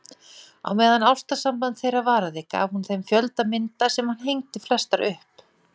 Á meðan ástarsamband þeirra varaði gaf hún þeim fjölda mynda sem hann hengdi flestar upp.